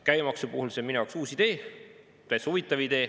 Käibemaksu puhul see on minu jaoks uus idee, täitsa huvitav idee.